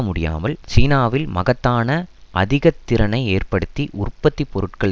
முடியாமல் சீனாவில் மகத்தான அதிக திறைனை ஏற்படுத்தி உற்பத்தி பொருட்கள்